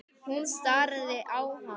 Hún starði á hana.